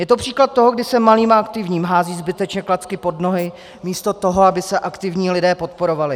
Je to příklad toho, kdy se malým a aktivním házejí zbytečně klacky pod nohy místo toho, aby se aktivní lidé podporovali.